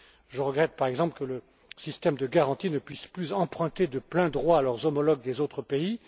Je regrette, par exemple, que les systèmes de garantie ne puissent plus emprunter de plein droit à leurs homologues des autres pays.